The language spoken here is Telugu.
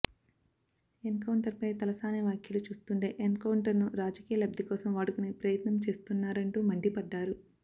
ఎన్ కౌంటర్ పై తలసాని వ్యాఖ్యలు చూస్తుంటే ఎన్ కౌంటర్ ను రాజకీయ లబ్ధికోసం వాడుకునే ప్రయత్నం చేస్తున్నారంటూ మండిపడ్డారు